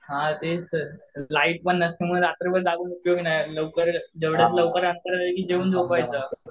हां तेच तर लाईट पण नसते त्यामुळे रात्रभर जागून उपयोग नाही लवकर जेऊन झोपायचं.